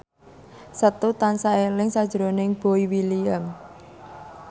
Setu tansah eling sakjroning Boy William